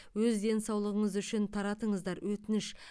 өз денсаулығыңыз үшін таратыңыздар өтініш